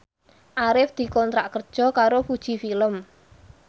Arif dikontrak kerja karo Fuji Film